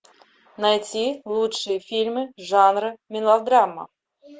найти лучшие фильмы жанра мелодрама